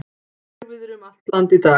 Hægviðri um land allt í dag